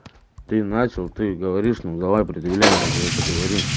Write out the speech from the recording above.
ты начал ты говоришь ну давай предъявляй мне за это говори